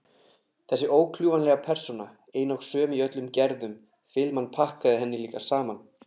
Þessi ókljúfanlega persóna, ein og söm í öllum gerðum filman pakkaði henni líka saman.